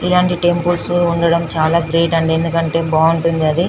ఈలాంటి temples వుండడం చాల great అంది ఎందుకంటే బాగింటుంది అది